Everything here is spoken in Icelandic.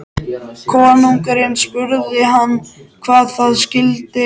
Konungurinn spurði hann hvað það skyldi.